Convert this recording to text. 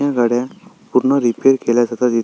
ह्या गाड्या पूर्ण रिपेअर केल्या जातात इ --